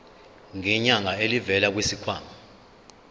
ngenyanga elivela kwisikhwama